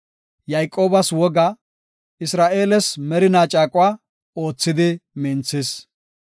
Yayqoobas woga, Isra7eeles merinaa caaquwa oothidi minthis.